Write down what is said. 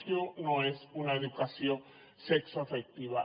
això no és una educació sexoafectiva